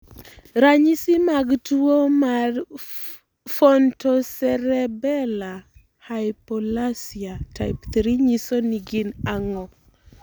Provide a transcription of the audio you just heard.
Ranyisi mag tuwo marPhontocerebellar hypoplasia type 3 nyiso gin ango?